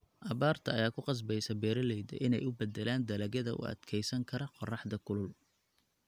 Abaarta ayaa ku qasbaysa beeralayda in ay u beddelaan dalagyada u adkeysan kara qorraxda kulul.